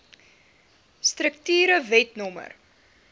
strukture wet no